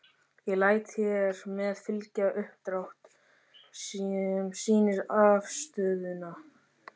Ég læt hér með fylgja uppdrátt. sem sýnir afstöðuna.